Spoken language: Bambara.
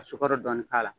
Ka sukaro dɔɔni k'a la